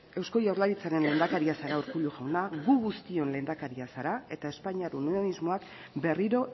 eusko jaurlaritzaren lehendakari zara urkullu jauna gu guztion lehendakaria zara eta espainiar unionismoak berriro